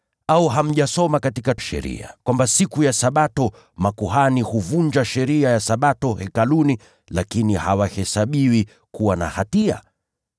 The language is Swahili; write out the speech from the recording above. Au hamjasoma katika Sheria kwamba siku ya Sabato makuhani huvunja sheria ya Sabato Hekaluni lakini hawahesabiwi kuwa na hatia?